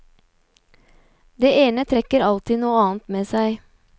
Det ene trekker alltid noe annet med seg.